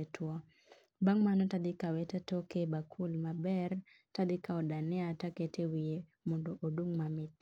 otuo. Bang' mano to atoke e bakul maber to akawo dania to aketo e wiye mondo odung' mamit.